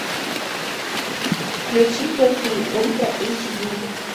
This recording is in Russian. включи плохие ультра эйч ди